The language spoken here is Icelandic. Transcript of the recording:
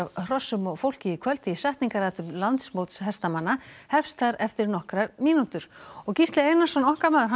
hrossum og fólki í kvöld því setningarathöfn landsmóts hestamanna hefst þar eftir nokkrar mínútur og Gísli Einarsson